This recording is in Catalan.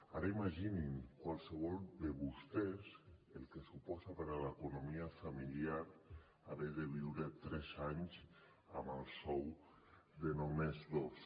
ara imaginin qualsevol de vostès el que suposa per a l’economia familiar haver de viure tres anys amb el sou de només dos